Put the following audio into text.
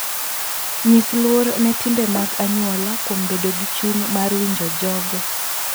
Nyis luor ne timbe mag anyuola kuom bedo gi chuny mar winjo jogo.